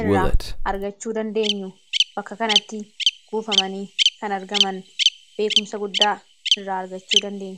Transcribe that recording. irraa argachuu dandeenyu bakka kanatti kuufamanii kan argaman beekumsa guddaa irraa argachuu dandeenyu.